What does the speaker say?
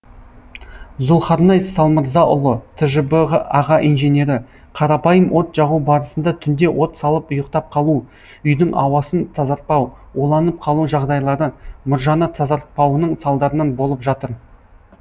зұлхарнай салмырзаұлы тжб аға инженері қарапайым от жағу барысында түнде от салып ұйықтап қалу үйдің ауасын тазартпау уланып қалу жағдайлары мұржаны тазартпауының салдарынан болып жатыр